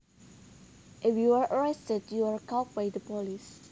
If you are arrested you are caught by the police